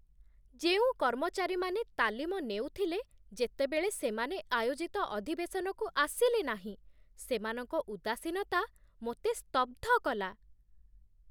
ଯେଉଁ କର୍ମଚାରୀମାନେ ତାଲିମ ନେଉଥିଲେ, ଯେତେବେଳେ ସେମାନେ ଆୟୋଜିତ ଅଧିବେଶନକୁ ଆସିଲେ ନାହିଁ, ସେମାନଙ୍କ ଉଦାସୀନତା ମୋତେ ସ୍ତବ୍ଧ କଲା।